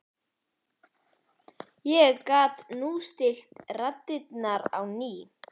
ég gat núllstillt radarinn á ný.